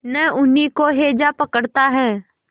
न उन्हीं को हैजा पकड़ता है